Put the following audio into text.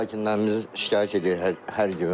Sakinlərimiz şikayət edir hər gün.